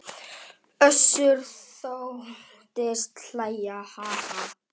Össur þóttist hlæja: Ha ha.